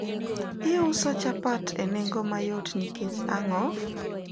uso chapat e nengo mayot nikech ango?